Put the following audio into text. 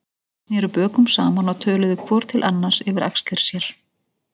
Þeir sneru bökum saman og töluðu hvor til annars yfir axlir sér.